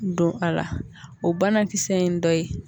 Don a la o banakisɛ in ye dɔ ye